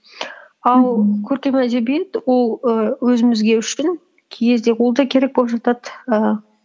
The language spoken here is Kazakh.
ал көркем әдебиет ол і өзімізге үшін кей кезде ол да керек боп жатады ііі